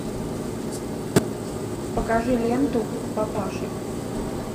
покажи ленту папаши